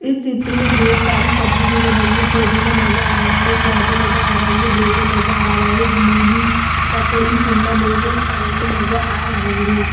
इस चित्र में बहुत सारी सब्जी दिख रही है पुदीना नजर आ रहा है गाजर नजर आ रही है बेगन नजर आ रहा है मूली ककड़ी शिमला मिर्च करेले नजर आ रहे हैं।